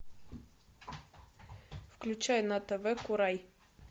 включай на тв курай